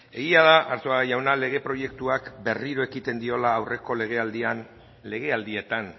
egia da arzuaga jauna lege proiektuak berriro ekiten diola aurreko legealdietan